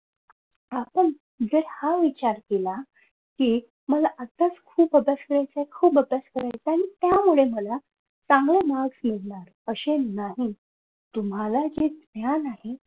आपण जर हा विचार केला कि खूप अभ्यास करायचाय खूप अभ्यास करायचाय आणि त्यामुळे मला चांगले marks मिळणार असे नाही तुम्हाला ते ज्ञान आहे.